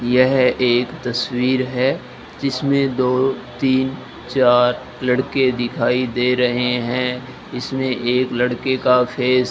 यह एक तस्वीर है जिसमें दो तीन चार लड़के दिखाई दे रहे हैं इसमें एक लड़के का फेस --